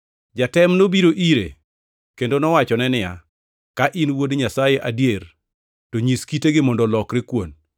Jatem nobiro ire kendo nowachone niya, “Ka in Wuod Nyasaye adier to nyis kitegi mondo olokre kuon.”